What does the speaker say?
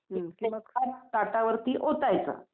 की मग ताटावरती ओतायचं.